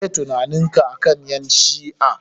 Meh tunaninka akan ƴan shi'a?